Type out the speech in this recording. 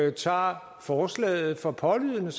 ikke tager forslaget for pålydende